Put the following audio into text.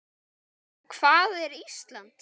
En hvað er Ísland?